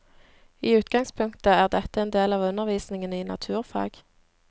I utgangspunktet er dette en del av undervisningen i naturfag.